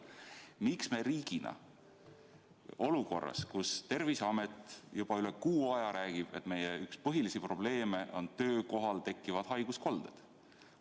Miks me riigina ei lähe appi olukorras, kus Terviseamet on juba üle kuu aja rääkinud, et üks meie põhilisi probleeme on töökohal tekivad haiguskolded?